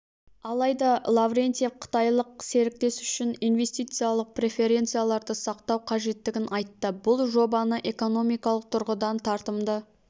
алайда лаврентьев қытайлық серіктес үшін инвестициялық преференцияларды сақтау қажеттігін айтты бұл жобаны экономикалық тұрғыдан тартымды